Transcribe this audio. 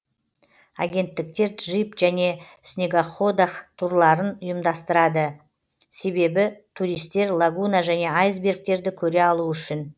агенттіктер джип және снегоходах турларын ұйымдастырады себебі туристер лагуна және айсбергтерді көре алу үшін